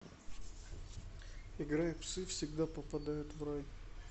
играй псы всегда попадают в рай